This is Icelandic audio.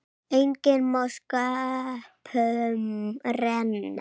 Enginn má sköpum renna.